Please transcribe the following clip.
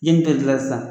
Yen bɛɛ lajɛlen sisan